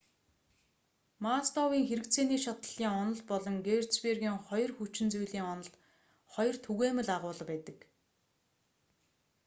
масловын хэрэгцээний шатлалын онол болон херцбергийн хоёр хүчин зүйлийн онолд хоёр түгээмэл агуулга байдаг